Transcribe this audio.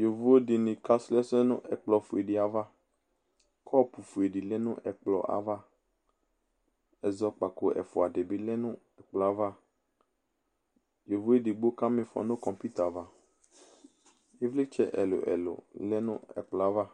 yovodini (ɛtʋƒʋe) kɔpʋƒʋe lɛ nʋ ɛkplɔ ava ɛzɔkpako dibi lɛ nɛkplɔava yovo edigbo kamiƒɔ nʋ NA ava ɛvlitsɛ ɛlʋ ɛlʋ lɛ nʋ ɛkplɔava